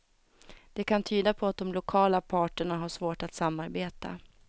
Det kan tyda på att de lokala parterna har svårt att samarbeta.